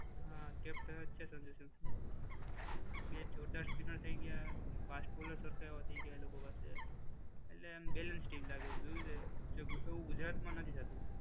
હા, કેપ્ટન જ છે સંજુ સેમસંગ. બે જોરદાર સ્પીનર થઈ ગયા. ફાસ્ટ બોલર સરખા એવા થઈ ગયા એ લોકો પાસે. એટલે આમ બેલેન્સ સ્ટીમ લાગે છે જોયું તે. એવું ગુજરાતમાં નથી થતું.